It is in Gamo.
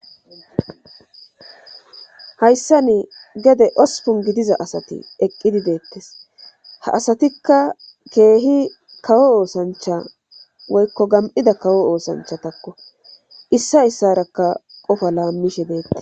hayssani gede osupun gidiza asati eqqidi deettes ha asatikka keehi kawo oosancha woykko gam7ida kawo oosanchatakko issa issarakka qofa laammishe deetta